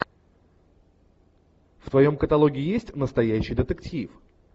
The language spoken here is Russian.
в твоем каталоге есть настоящий детектив